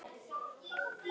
Þinn Davíð.